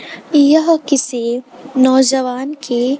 यह किसी नौजवान की --